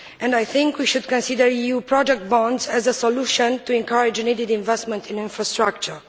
I think we should consider EU project bonds as a solution to encourage needed investment in infrastructure.